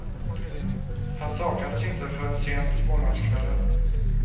Han saknades inte förrän sent måndagskvällen.